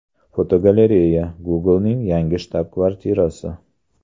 Fotogalereya: Google’ning yangi shtab-kvartirasi.